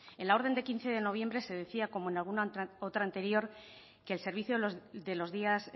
en la orden de quince de noviembre se decía como en alguna otra anterior que el servicio de los días